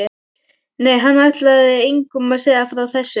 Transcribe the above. Nei, hann ætlaði engum að segja frá þessu.